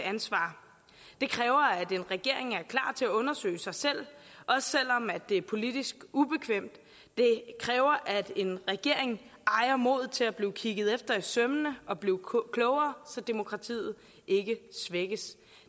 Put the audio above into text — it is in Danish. ansvar det kræver at en regering er klar til at undersøge sig selv også selv om det er politisk ubekvemt det kræver at en regering ejer modet til at blive kigget efter i sømmene og blive klogere så demokratiet ikke svækkes